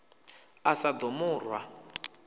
a sa ḓo mu rwa